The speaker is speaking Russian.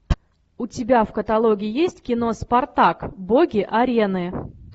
у тебя в каталоге есть кино спартак боги арены